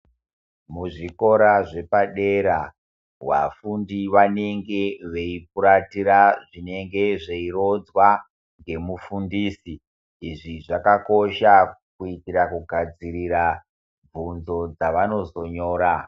Muzvikora zvepadera vafundi vanenge veiperetera zvinenge zveironzwa ngemufundisi ,izvi zvakakosha kuitira kugadzirira bvunzo dzavanozonyora.